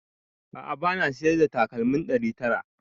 A'a bana siyar da takalmin ɗari tara